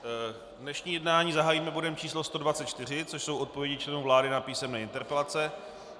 Dnešní jednání zahájíme bodem číslo 124, což jsou odpovědi členů vlády na písemné interpelace.